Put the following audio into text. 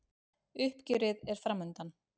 Uppgjörið er framundan